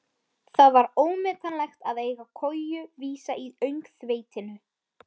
Það var ómetanlegt að eiga koju vísa í öngþveitinu.